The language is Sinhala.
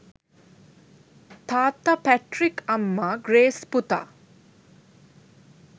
තාත්තා පැට්ට්‍රික් අම්මා ග්‍රේස් පුතා